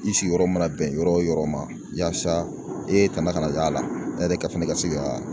I sigiyɔrɔ mana bɛn yɔrɔ o yɔrɔ ma, yasa e kana kana y'a la, ɛ yɛrɛ ka fana ka se ka